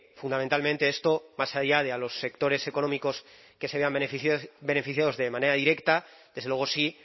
fundamentalmente esto más allá de a los sectores económicos que se vean beneficiados de manera directa desde luego sí